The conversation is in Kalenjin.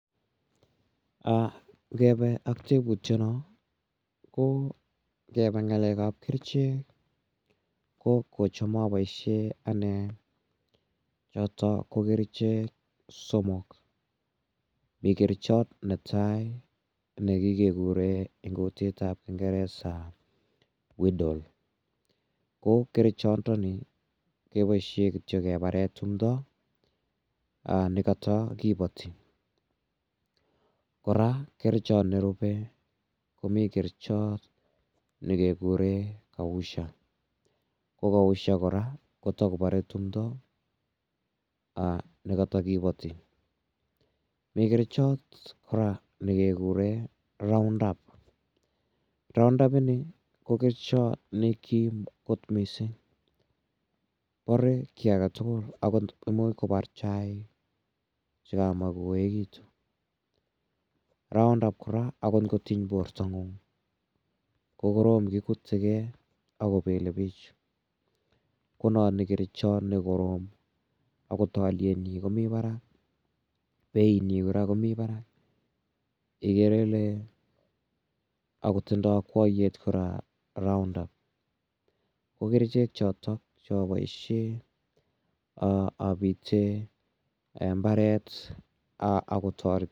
Ngepe ak teputiano ,ko ngepa ng'alek ap kerichek ko kocham apaishe ane chotok ko kerichek somok. Mi kerichat ne kikekure eng' kutip ap kingeresa widle. Ko kerichandani kepaishe kityo kepare timdo ne katakipati. Kora, kerichat nerupei ko mi kerichat ne kekure kausha. Ko kausha kora ko tukopare timdo ne katakipati. Mi kerichot kora ne kekure Round-up. Round-up ini ko kerichat ne kim kot missing'. Pare ki age tugul agot imuch kopar chaik che kamach koekitu. Round-up kora agot ngotiny portong'ung' ko korom kikute gei ako pele pich. Ko nat ni kerichat ne korom agot aliet nyi komi parak, beitnyi kora ko mi parak igere ile , ako tindai akwayet kora Round-up. Ko kerichek chotok che apaishe apite mbaret ako tareti.